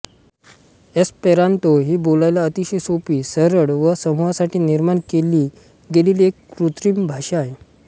Esperanto ही बोलायला अतिशय सोपी सरळ व समूहासाठी निर्माण केली गेलेली एक कृत्रिम भाषा आहे